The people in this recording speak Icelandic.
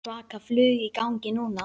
Svaka flug í gangi núna.